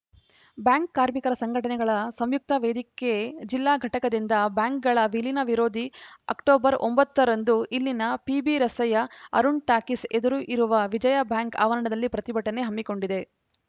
bank ಕಾರ್ಮಿಕರ ಸಂಘಟನೆಗಳ ಸಂಯುಕ್ತ ವೇದಿಕೆ ಜಿಲ್ಲಾ ಘಟಕದಿಂದ ಬ್ಯಾಂಕ್‌ಗಳ ವಿಲೀನ ವಿರೋಧಿಸಿ ಅಕ್ಟೋಬರ್ ಒಂಬತ್ತ ರಂದು ಇಲ್ಲಿನ ಪಿಬಿರಸ್ತೆಯ ಅರುಣ್ ಟಾಕೀಸ್‌ ಎದುರು ಇರುವ ವಿಜಯಾ ಬ್ಯಾಂಕ್‌ ಆವರಣದಲ್ಲಿ ಪ್ರತಿಭಟನೆ ಹಮ್ಮಿಕೊಂಡಿದೆ